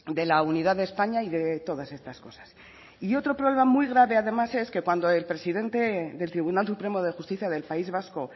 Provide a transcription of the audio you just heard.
de la unidad de españa y de todas estas cosas y otro problema muy grave además es que cuando el presidente del tribunal supremo de justicia del país vasco